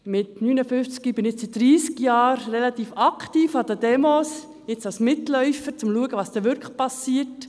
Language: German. Mit 59 Jahren bin ich nun seit 30 Jahren relativ aktiv an Demonstrationen anwesend, momentan als Mitläuferin, um zu schauen, was wirklich passiert.